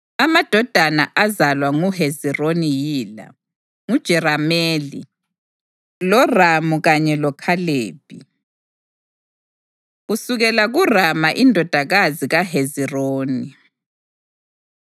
Amadodana azalwa nguHezironi yila: nguJerameli, loRamu kanye loKhalebi. Kusukela KuRama Indodana KaHezironi